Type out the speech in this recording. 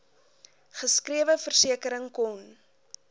geskrewe versekering kon